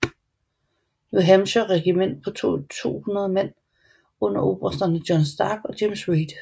New Hampshire regiment på 200 mand under obersterne John Stark og James Reed